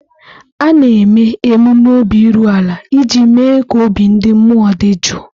A na-eme emume obi iru ala iji mee ka obi ndị mmụọ dị jụụ.